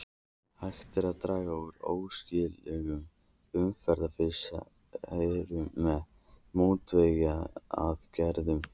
Hægt er að draga úr óæskilegum umhverfisáhrifum með mótvægisaðgerðum.